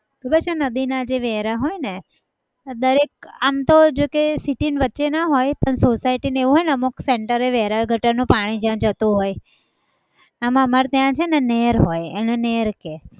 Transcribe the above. ખબર છે નદીના જે વેરા હોય ને દરેક આમતો જોકે city ની વચ્ચેના હોય પણ society હોય અમુક center એ વેરા હોય ગટરનું પાણી જાય જતું હોય એમ અમારે ત્યાં છે ને નેર હોય એને નેર કહે